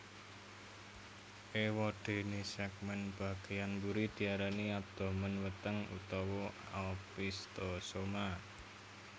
Éwadéné sègmèn bagéyan mburi diarani abdomen weteng utawa opisthosoma